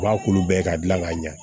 U b'a kulu bɛɛ ka dilan k'a ɲɛ